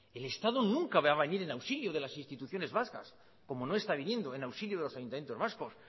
el estado nunca va a venir en auxilio de las instituciones vascas como no está viniendo en auxilio de los ayuntamientos vascos